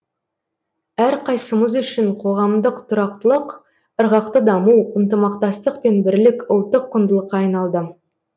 әрқайсымыз үшін қоғамдағы тұрақтылық ырғақты даму ынтымақтастық пен бірлік ұлттық құндылыққа айналды